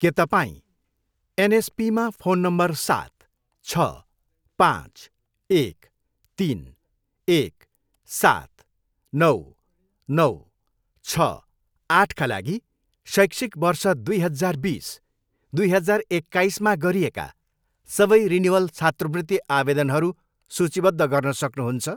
के तपाईँँ एनएसपीमा फोन नम्बर सात, छ, पाँच, एक, तिन, एक, सात, नौ, नौ, छ, आठका लागि शैक्षिक वर्ष दुई हजार बिस, दुई हजार एक्काइसमा बुझाइएका गरिएका सबै रिनिवल छात्रवृत्ति आवेदनहरू सूचीबद्ध गर्न सक्नुहुन्छ?